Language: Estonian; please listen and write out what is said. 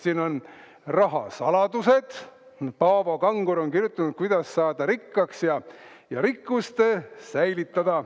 Siin on "Rahasaladused", Paavo Kangur on kirjutanud, kuidas saada rikkaks ja rikkust säilitada.